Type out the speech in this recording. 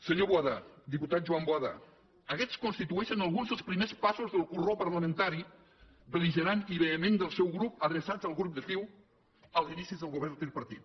senyor boada diputat joan boada aguests constitueixen alguns dels primers passos del corró parlamentari bel·ligerant i vehement del seu grup adreçat al grup de ciu als inicis del govern tripartit